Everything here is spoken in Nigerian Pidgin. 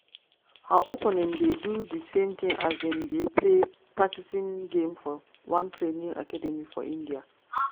her opponent dey do di same tin as dem dey play practicing game for one training academy for india.